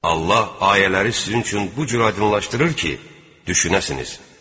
Allah ayələri sizin üçün bu cür aydınlaşdırır ki, düşünəsiniz.